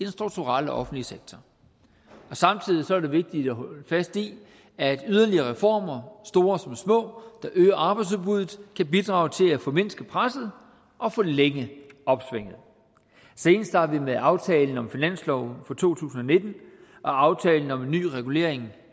strukturelle offentlige sektor samtidig er det vigtigt at holde fast i at yderligere reformer store som små der øger arbejdsudbuddet kan bidrage til at formindske presset og forlænge opsvinget senest har vi med aftalen om finansloven for to tusind og nitten og aftalen om en ny regulering